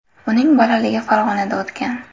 Uning bolaligi Farg‘onada o‘tgan.